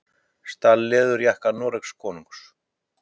Stal leðurjakka Noregskonungs